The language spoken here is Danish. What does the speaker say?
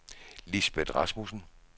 Lisbeth Rasmussen